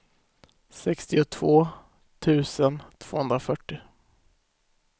sextiotvå tusen tvåhundrafyrtio